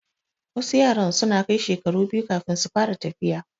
Wasu yaran suna kai shekaru biyu kafin su fara tafiya